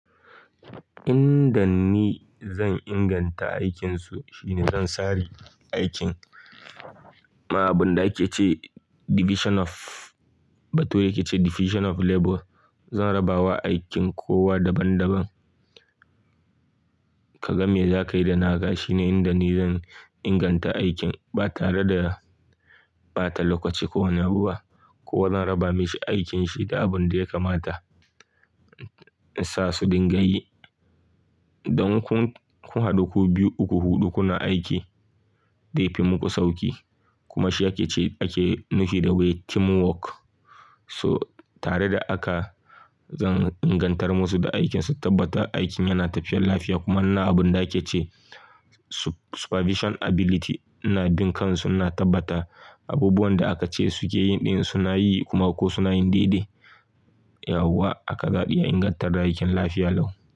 Inda ni zan inganta aikinsu shine zan sari aikin. Abin da ake ce division of, Bature ke ce division of labor. Zan raba wa aikin kowa daban daban. Kaga me za ka yi da na ga shine inda ni zan inganta aikin, ba tare da ɓata lokaci kowane abu ba. Ko wa zan raba mishi aikinshi da abin da ya kamata, in sa su dinga yi. Don kun haɗu ku biyu, uku, huɗu kuna aiki dai fi muku sauki. Kuma shi ake ce ake nufi da wai teamwork. So tare da haka, zan ingantar musu da aikin su, tabbata aikin yana tafiyar lafiya. Kuma na abin da ake ce supervision ability, ina bin kan su, ina tabbata abubuwan da aka ce suke yin ɗin suna yi kuma ko suna yin daidai. Yauwa haka za'a iya ingantar da aikin lafiya lau.